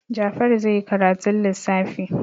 Jafaru zai yi karatun lissafi.